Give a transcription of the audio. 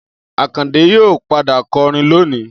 Akande yóò padà kọrin lónìí